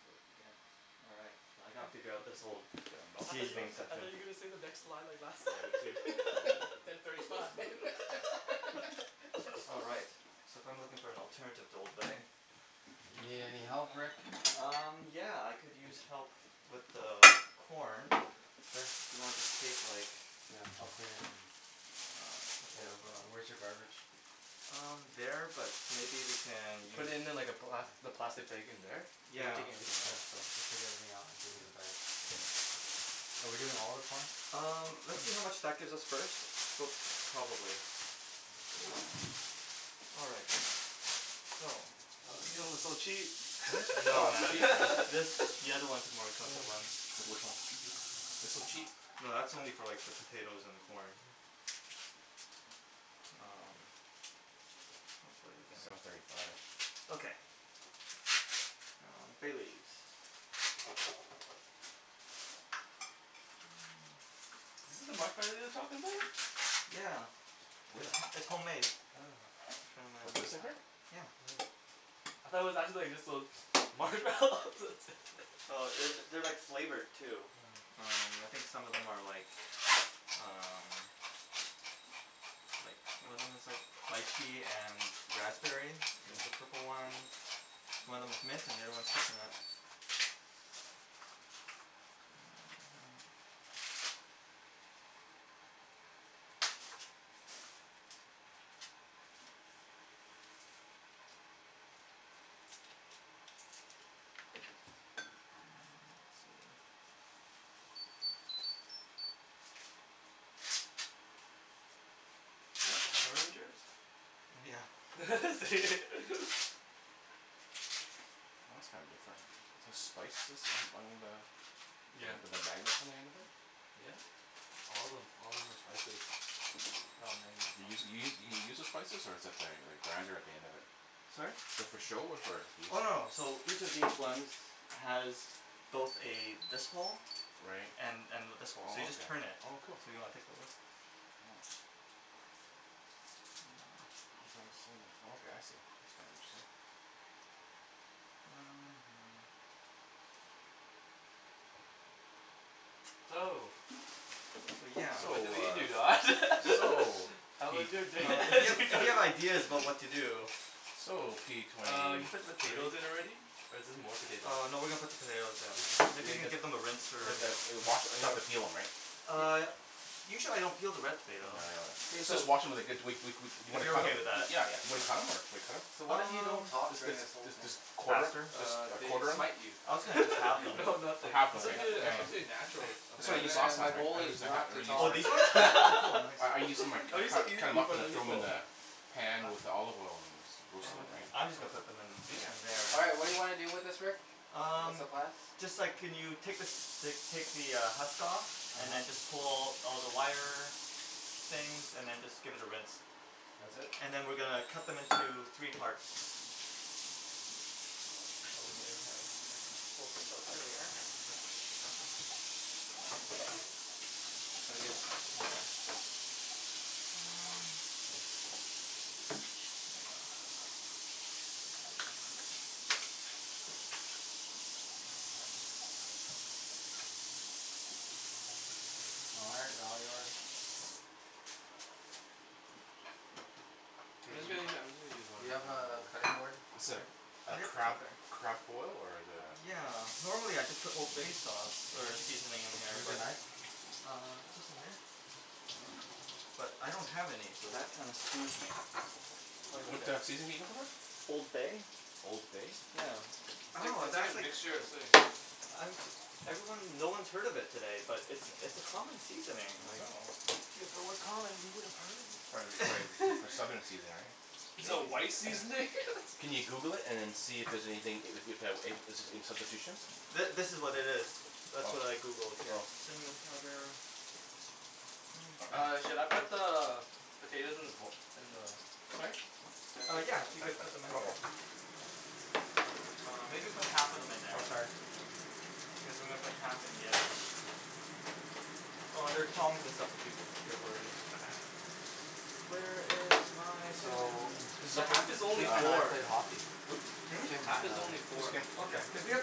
So it begins. Alright. So I gotta figure out this whole I gotta mouse I thought on my you, seasoning back. I session. thought you were gonna say the next line or last Yeah line me too ten thirty five. All right. So if I am looking for an alternative to old bay. You need any help Rick? got the chicken. Um yeah I could use help with the corn Sure. and I'll just take like Yeah I'll clean it then. Yeah wh- where's your garbage? Um there, but maybe we can Put use it in like a black, the Yeah plastic bag in there? Cuz we're yeah. taking everything Yeah out so so just take everything out and give me the bag. Are we doing all of the corn? Um let's see how much that gives us first, but probably. All right so. Oh you know it's so cheap. No man this- the other ones are more expensive ones. Like which one? They're so cheap. No that's only for like the potatoes and the corn. Um hopefully we can Seven thirty five Okay um bay leaves Is this the marshmallow you were talking about? Yeah Where? it's- it's homemade. Oh What, this in here? Yeah Hmm I thought it was actually just like those marshmallows Oh that's it it- they're like flavored too. Um I Hmm think some of them are like um like one of them is like lychee and raspberry is the Hmm purple ones, one of them's mint and the other one is coconut. Um let's see Is that Power Ranger's? Yeah is it? Oh that's kinda different. Is this spices on- on the Yeah with the magnets on the end of it? Yep all of them, all of them are spices. They're all You use magnets you you you use the spices or is th- that like a grinder at the end of it? Sorry? Is that for show or for use? Oh no so each of these ones has both a this hole Right and and this hole. So you just turn it. oh okay oh cool. Do you wanna take a look? Yeah Oh ground cinnamon oh okay I see. That's kinda interesting. So, So yeah so So I believe you Don. ah so How Uh was p- your day? if p- you, if you have ideas about what to do. So p twenty Uh you put the two potatoes in already, or is this more potatoes? Uh no we are going to put the potatoes in. Maybe you could give them a rinse or a Okay wash, we don't have scrub. to peel them right? Uh usually I don't peel the red No, potato. yeah I know that. K Let's so just wash em and they're good we- we- we- we If cu- you're okay with , yeah that. Yeah yeah yeah and then cut em or do we cut em? So Should we what cut if we don't Um talk them? during this whole let's jus- thing? just quarter them, faster? jus- Uh just they quarter them? smite you. I was gonna just halve them no or nothing half it's but okay suppose- you yeah it's know yeah supposed to be Nothing? natural. that's what I Okay used then I- last my time right? I goal used is the ha- not or to used Oh talk. these ones? the Oh cool, nice I- I used to cu- cut them up and throw them in the pan with the olive oil and Okay roasted them right. I'm just gonna put them Yeah in- in there. All right what do you wanna do with this Rick? What's Um, the plan? just a sec can you take like take the husk off and then just uh-huh pull all the wire things and then just give it a rinse That's it? and then we are going to cut them into three parts. And I'll just probably Now we gotta cut them here. Um All right they're all yours. Hey do you, do you have a cutting board? I'm sorry a Ah yep, it's crab, right there. crab boil or is it a? Yeah, normally I just put old bay sauce or seasoning in here Where's your but knife? Uh just in here I don't have any so that kinda screws me, quite a What bit. a seasoning are you looking for? Old bay Old bay? yeah It's like- oh it's like a that's like, mixture of something. I'm jus- everyone- no one has heard of it today, but it's it's a common seasoning I like know Yeah if it was common we woulda heard of Prob- prolly for it. southern seasoning Is right it a maybe white seasoning? Can you Google it and then see if- if there's anything, if- if there's any substitutions? Th- this is what it is. That's what I Oh Googled here. oh Cinnamon powder Where is my? All right, should I put the potatoes in the bo- in the Sorry? Uh yeah if you could put them in uh here. oh Uh maybe put half of them in there Oh sorry cuz then we'll put half in the other one. Oh there are tongs and stuff if you if you're worried. Where is my cinnamon? So Just a The second half is only Kim yeah and I four, pay hockey Hmm? Hmm? Kim half and is only I Which four. Kim? Okay cuz we have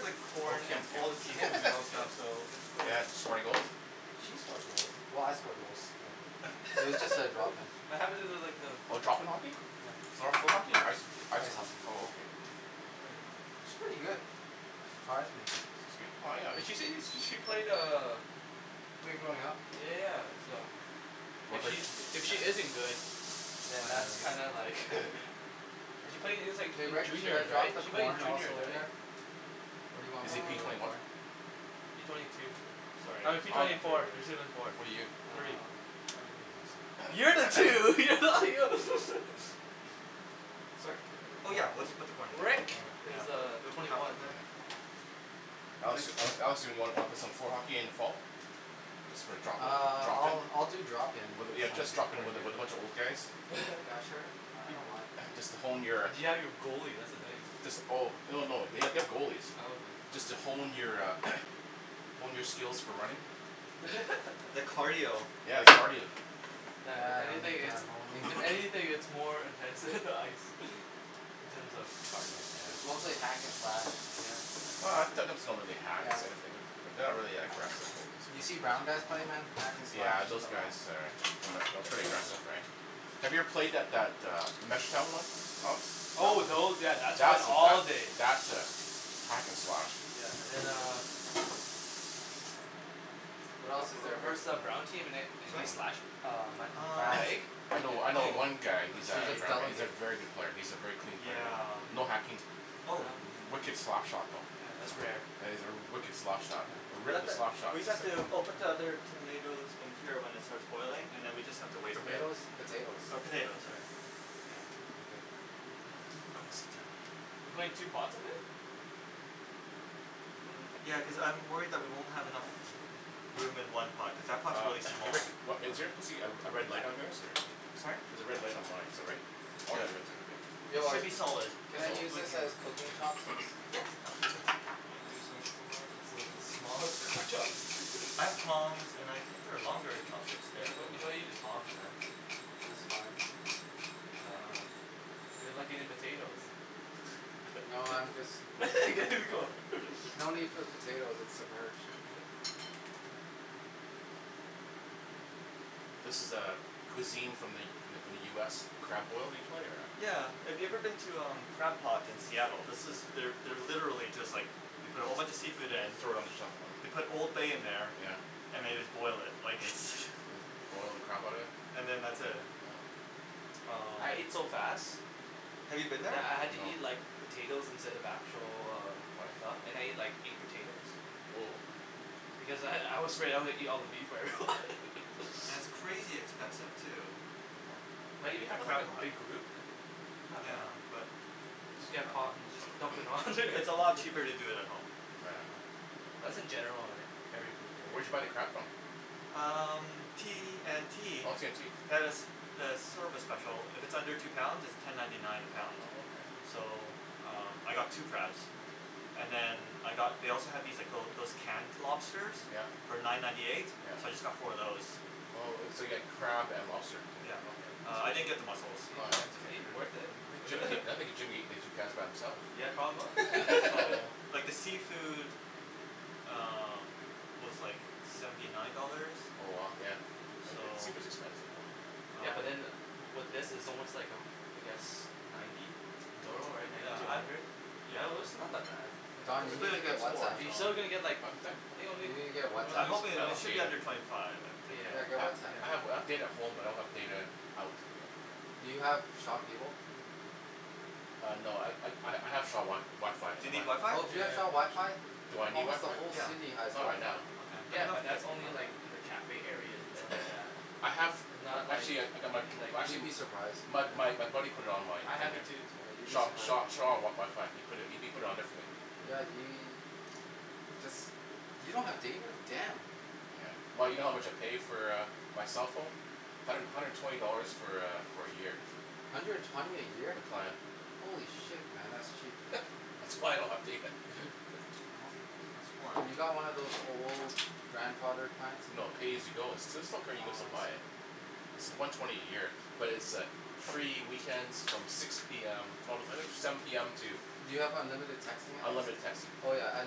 like corn Kim and all the Kim Kim seafood Yeah and okay stuff so it's quite a Yeah did she score any goals? She scored goals, well I score goals too but it was just a drop in. What happen to like the Oh drop in hockey? Yeah floor- floor hockey? I- ice hockey ice ice hockey? hockey oh okay She's pretty good, surprised me. She's good well yeah She seems when she played uh Played growing up Yeah so if she if she isn't good Oh then yeah that's then kinda like cuz she played Hey since Rick? Should I juniors drop right? the She played in corn juniors also right? in there? What do you want Is me he to p do with Um the twenty one? corn? P twenty two sorry I I'm mean just P gonna twenty four, after P twenty four What are you? Three um Oh that's right You're the two, you're not Sorry? Oh yeah we'll just put the corn in there Rick yeah is pu- uh Okay we'll put twenty half of one. them in there. Yeah Alex- Alex do wanna pl- play some floor hockey at the end of fall? Just for drop in, Ah drop in? I'll- I'll do drop in Yeah just drop in with a, with a bunch of old guys? Yeah sure I don't mind Just to hone your, But you have your goalie that's the thing. jus- oh, oh no they- they have Oh goalies. okay Just to hone your a, hone your skills for running. The cardio Yeah if Yeah I anything need it's, that honing. if anything it's more intense than the ice, in terms of cardio. It's mostly hack and slash. Yeah Oh it's not really hack. Yeah It's a- wh- but they're not really that aggressive. you seen brown guys play man hack and slash Yeah to those the guys max. are, are pretty aggressive right? Have you ever played that, that a Oh those, yeah that's That's a, days that's a hack and slash. Yeah and then uh What else is there we Rick? versed that brown team and they slashed Mhm uh my Um I'm fast leg I know, I know oh one guy You who's let's a, should see just he's a delegate. very good player, he's a very clean Mm player, yeah? yeah no hacking, oh wicked slap shot though, Yeah that's rare yeah yeah he's a wicked slap shot, a We have wicked to slap shot we just have sayin. to oh put the other hm tomatoes in until it starts boiling then we just have to wait a bit. Tomatoes? Potatoes Or potatoes sorry you know All good Oh I'm gonna sit down. we're putting two pots of it? Ya cuz I'm worried that we won't have enough room in one pot cuz that pots Uh really small. Rick, wha- is there supposed to be a- a red light on yours or? Sorry? There's a red light on mine is that right? Oh yeah Yep you have it too It okay. should Rick be solid. can I Solid use this as cooking chopsticks? Yeah Yeah absolutely Those are like the smallest cooking I have tongs and I think there are longer chopsticks there if You you gotta- you want. gotta use tongs man. That's fine. Uh, they're like potatoes No I'm just mixing it There ya before. go There's no need for the potatoes, it's submerged. This is a- cuisine from the- from the U S crab boil usually or Yeah if you a? have ever been to Crab Pot in Seattle this is, they're literally just like, they put a whole bunch of seafood in, And throw it on the top they put oh old bay in there yeah and they just boil it, like its Just boil the crap out of Hm it? and then that's it yeah Oh um. I ate so fast, Have you been there? that I had to eat No like potatoes instead of actual uh stuff and I Why? ate like eight potatoes Whoa because I- I was afraid I was gonna eat all the meat before everyone. And it's crazy expensive too But when Oh you a- know I at never had, Crab a Pot. big group, uh not Yeah bad. but Just I get a dunno pot and just dump it all in there. It's a lot cheaper to do it at home. Oh yeah That's in general on every food Where'd right? you buy the crab from? Um T&T Oh T&T they have a have a service special, if it's under two pounds it's ten ninety nine a Oh- pound. oh okay Hm So um I got two crabs and then I got they also had these like little those canned lobsters Yep yep for nine ninety eight so I just got four of those. Oh- oh so you got crab and lobster Yep Uh I okay. didn't get the Is muscles. Oh yeah that's he, is okay. he worth it? I think Jim, I think Jim coulda ate the two crabs by himself. Yeah probably So like the seafood um was like seventy nine dollars. Oh wow, yeah So seafood's expensive man. Yeah um but in with this, is almost like a I guess ninety dough right Oh ninety Yeah to a I'm hundred? yeah Although it's not that bad. It's But Don, you a good Oh thing need to I get got four Whatsapp. you so Huh still didn't get like, what was that? I think only You need to get I I'm Whatsapp. hoping don't i- it have should be data. under twenty five I'm thinking. Yeah get I- Yeah Whatsapp I have yeah data at home but I don't have data out. Do you have Shaw cable? Ah no I ha- I have Sha- Shaw WiFi Do you on need there. WiFi? Oh do you have Shaw WiFi? Yeah Do I need Almost the WiFi? whole Yeah city has Not right WiFi. now. okay let Yeah me know if but you guys that's need only in WiFi. like the cafe areas and stuff like that I have, and not like actually I- I got my in like You'd actually be surprised. my my buddy put it on my I have it there too Yeah you'd , be so Shaw- surprised. Shaw WiFi ,he pu- put it on there for me. Yeah we- jus- you don't have data? Damn. Yeah well you know how much I pay for a my cell phone? hundred- hundred and twenty dollars for a for a year. Hundred and twenty a year? The plan Holy shit man that's cheap. That's why I don't have data. No- no Have swearing you got one of those old grandfather plans? No pay as you go it's still- still Oh buy it. I see It's the one twenty a year but it's a free weekends from six p m no I think seven p m to Do you have unlimited texting at least? Unlimited texting Oh yeah at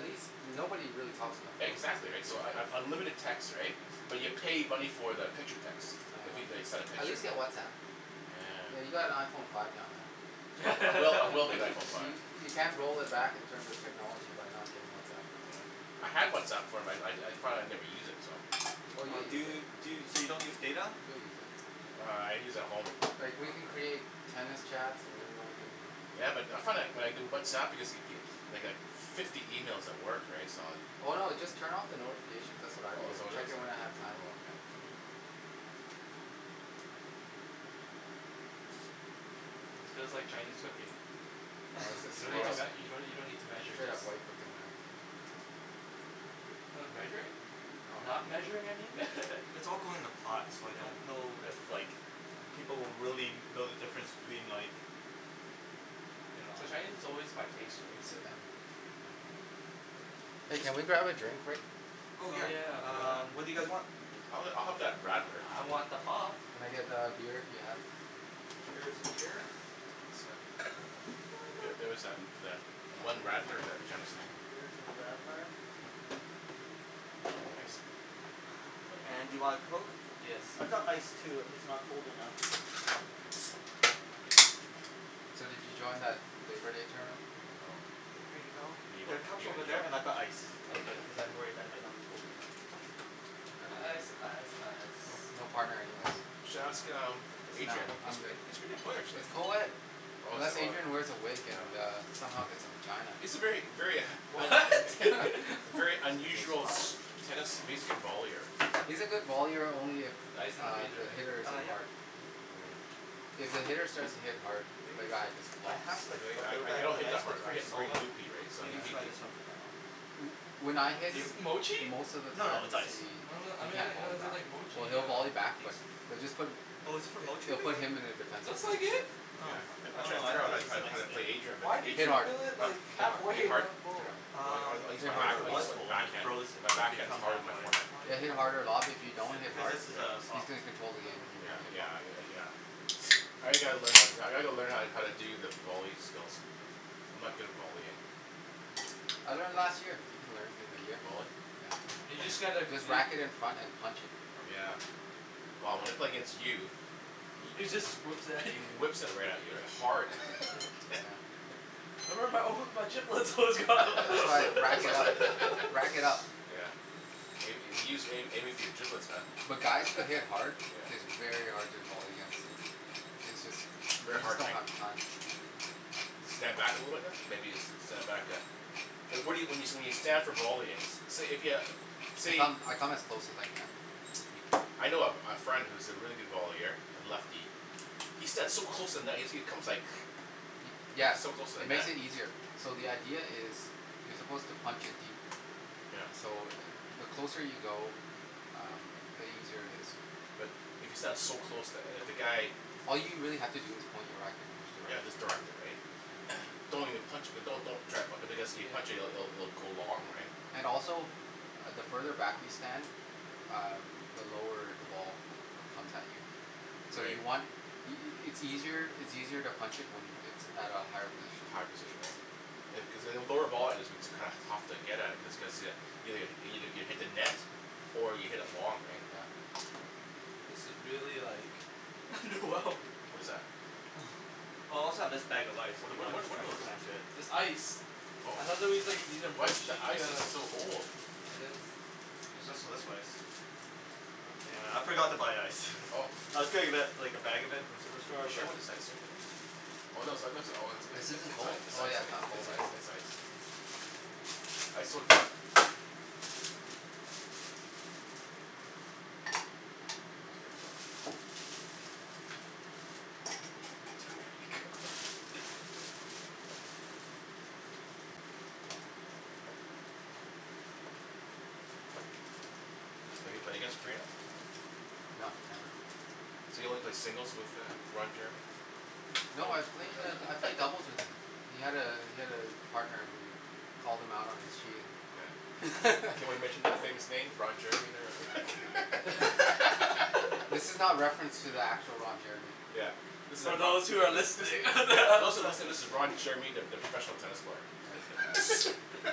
least- nobody really talks on the phone these Exactly days. right so un- unlimited text right, but you pay money for the picture text, Oh if they okay send a At picture. least get Whatsapp. I mean you Yeah got an Iphone five now man. I will I will get an Iphone five. You- you can't roll it back in terms of technology by not getting Whatsapp. Yeah I had Whatsapp before, I- I thought I'd never use it so. Oh you'll Do use it, you, so you don't use data? you'll use it. Uh I use at home. Like we can Okay create tennis chats and everyone who Ya but I, I found when I do Whatsapp I get like fifty emails at work right so I Oh no just turn off the notifications that's what I do Oh is that and what it check is? in when I have time. oh okay. This feels like Chinese cooking No, this is you don't need straight to- up, you don't need to you don't need to measure straight just up white cooking man. Oh measuring? Oh no not measuring I mean yeah mm It's all going in a pot so I don't know if like people will really know the difference between like you know? Well Chinese is always by pace right? Hey can we grab a drink Rick? Oh Oh yeah yeah um what do you guys um Oh want? I'll have I'll have that radler. I want the pop. Can I get a beer if you have? Here is a beer. Here is a radler. Thank you sir Yeah there was tha- that one radler that Jim seen. Here is a radler. Thanks And do you want a coke? Yes I've got ice please too if it's not cold enough. So did you join that labour day tournament? No Here you you- go. There are you cups are over there and I've got ice if Okay cuz I'm worried that might not be cold enough. I didn't ice, ice, ice no, no What? partner anyways. You should ask um No Adrian. I'm good He's a pretty good player actually. it's coed, Oh is- unless oh Adrian wears a wig and yeah. a somehow gets a vagina. He's a very, very What? K, very there's your unusual pop. tennis vollier. He's a good vollier only if Ice is in the uh freezer the right? hitter Ah isn't yep hard. Hmm If the hitter starts to hit hard, the guy just I flops. have like a Really? I- little I- I bag of don't an hit ice that but hard, it's I really hit solid very loopy right so so I'm he- gonna he- try he this one for now. When I hit Is this Motchi? most of the No no times it's ice he I don- um then can't why volley does it say back like or Motchi here he'll on volley back it but they'll just put Oh is this for Motchie they'll do you think? put him in a defense Looks like position. it. Oh, Yeah I- I'm oh trying no fig- I figure thought how- it was just an how ice to pl- thing. play Adrian but Why did Hit Adrian you What? hard, fill it like hit half way hard, hit hit and hard? hard, not full? I- I Um use, hit I think harder it I was use my full and I backhand, froze it my to the better backhand is become harder than half my way. forehand. Then hit harder a lot, but if you don't Cu- hit cuz hard this is a he's soft going to Yeah control the game. on the Yeah Oh bottom. yeah yeah I g- gotta learn, I gotta learn how to- how to do the volley skills. I'm not good at volleying. I learned last year. You can learn in a year. Volley? Yeah You just get like just you whack it in front and punch it. Yeah well when I play against you, He just whips it at he you. whips it right at you hard. Yeah That's why I rack it up, rack it up. Yeah may- maybe he's aiming for your giblets man. But guys that hit Yeah hard, it's very hard to volley against them it;s jus- They're you just hard don't right? have the time. Stand back a little bit then? Maybe stand back yeah Well, what- what you, when you, when you stand for volleying say if you, I say come, I come as close as I can. I know a friend, who's a really good vollier, a lefty. He stands so close to the net he comes like, he's Yeah so close to the it net. makes it easier. So the idea is, you're supposed to punch it deep. Yep So the closer you go, um the easier it is. But, if you stand so close to- if the guy All you really have to do is point your racket and just Yeah direct it. just direct it right? yeah Don't even punch it, don't- don't even try be- cuz if you Yeah punch it- it'll go long right? And also, the further back you stand, um the lower the ball comes at you. So Right you want y- y- it's easier to punch it at a higher position. A higher position right cuz a lower volley is what's kinda tough to get at it just cu- cuz you- you hit the net or you hit it long right? Yeah Right This is really like wrong like What is that? Oh I also have this bag of ice if Whata- you whata- wanna just what try are and those smash things? it. This ice Oh, ice is so old. There's also this ice, yeah I forgot to buy ice, I was gonna li- like a bag of it from superstore She but wants ice cream in it? This isn't cold? Oh yeah not cold yet Have you played against Korina? No So you only played singles with uh Roger? No I've played I've played doubles with him, he had a he had a partner who called him out on his cheating. Can we mention the famous name Ron Jeremy there. This is not reference to the actual Ron Jeremy Yeah, this is a So yeah, those who are listening those that are listening this is Ron Jeremy the professional tennis player.